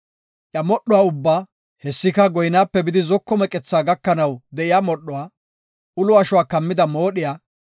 Iya modhuwa ubbaa, hessika goynaape bidi zoko meqethaa gakanaw de7iya modhuwa, ulo ashuwa kammida moodhiya,